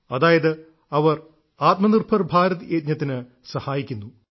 അതായത് അവർ ആത്മനിർഭർ ഭാരത് യജ്ഞത്തിനു സഹായിക്കുന്നു